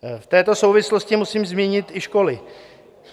V této souvislost musím zmínit i školy.